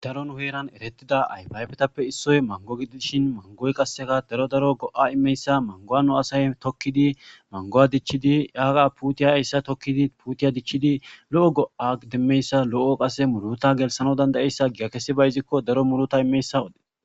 Daro nuheeran erettida aypaybetappe issoy mango gidishin mangoy qasseka daro daro go'a imeyssa mangowanu asay tokkidi mango'a dichchidi yaaqa putiya yssa tokkidi puutiya dichchidi lo'o go'a demmeyssa lo'o qase muruta gelsano dandayeyssa gigakesi bayzikko daro muruta imeyssawode